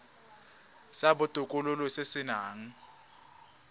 sa botokololo se se nang